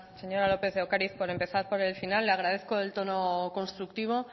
señora lópez de ocariz por empezar por el final le agradezco el tono constructivo